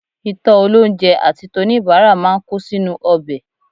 Ìtọ́ olóunjẹ àti toníbàárà máa ń kó sínú ọbẹ̀